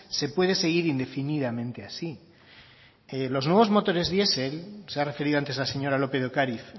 se puede seguir indefinidamente así los nuevos motores diesel se ha referido antes la señora lópez de ocariz